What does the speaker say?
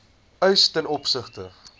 eis ten opsigte